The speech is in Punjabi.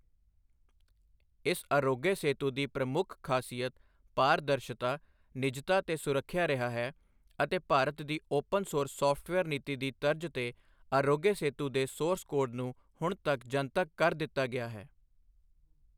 ਇਸ ਆਰੋਗਯ ਸੇਤੂ ਦੀ ਪ੍ਰਮੁੱਖ ਖਾਸੀਅਤ ਪਾਰਦਰਸ਼ਤਾ, ਨਿਜਤਾ ਤੇ ਸੁਰੱਖਿਆ ਰਿਹਾ ਹੈ ਅਤੇ ਭਾਰਤ ਦੀ ਓਪਨ ਸੋਰਸ ਸੌਫਟਵੇਅਰ ਨੀਤੀ ਦੀ ਤਰਜ ਤੇ ਆਰੋਗਯ ਸੇਤੂ ਦੇ ਸੋਰਸ ਕੋਡ ਨੂੰ ਹੁਣ ਜਨਤਕ ਕਰ ਦਿੱਤਾ ਗਿਆ ਹੈ।